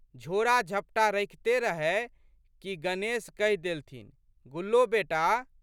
झोड़ाझपटा रखिते रहए कि गणेश कहि देलथिन, गुल्लो बेटा!